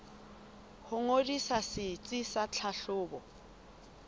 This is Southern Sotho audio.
ho ngodisa setsi sa tlhahlobo